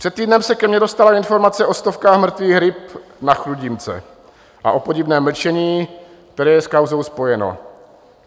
Před týdnem se ke mně dostala informace o stovkách mrtvých ryb na Chrudimce a o podivném mlčení, které je s kauzou spojeno.